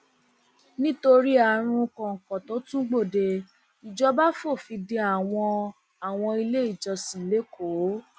nítorí àrùn kóńkó tó tún gbòde ìjọba fòfin de àwọn àwọn iléìjọsìn lẹkọọ